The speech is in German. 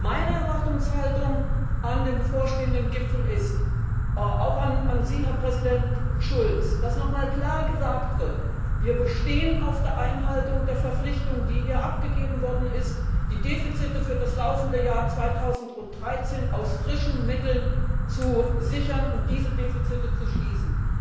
Meine Erwartungshaltung an den bevorstehenden Gipfel, auch an Sie, Herr Präsident Schulz, ist, dass noch einmal klar gesagt wird Wir bestehen auf der Einhaltung der Verpflichtung, die hier abgegeben worden ist, die Defizite für das laufende Jahr 2013 aus frischen Mitteln zu sichern und diese Defizite zu schließen.